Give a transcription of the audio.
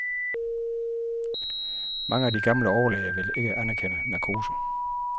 Mange af de gamle overlæger ville ikke anerkende narkose.